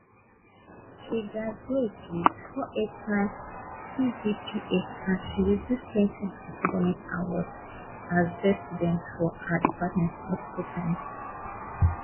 she graduate wit 489 cgpa and she receive plenty academic awards as best student for her department multiple times